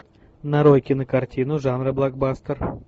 нарой кинокартину жанра блокбастер